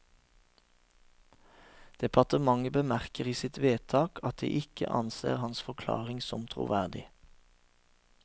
Departementet bemerker i sitt vedtak at de ikke anser hans forklaring som troverdig.